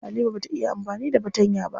Halima bata iya amfani da fatanya ba.